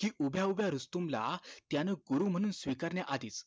कि उभ्या उभ्या रुस्तम ला त्यानं गुरु म्हणून स्वीकारण्या आधीच